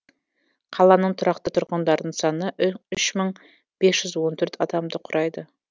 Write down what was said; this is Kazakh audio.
қаланың тұрақты тұрғындарының саны үш мың бес жүз он төрт адамды құрайды